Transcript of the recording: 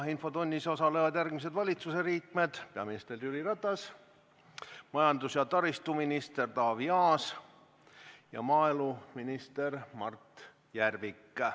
Infotunnis osalevad järgmised valitsusliikmed: peaminister Jüri Ratas, majandus- ja taristuminister Taavi Aas ja maaeluminister Mart Järvik.